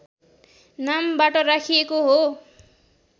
नामबाट राखिएको हो